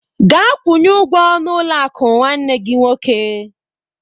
Gaa kwunye ụgwọ n'ụlọ akụ nwanne gị nwoke!